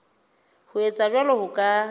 ho etsa jwalo ho ka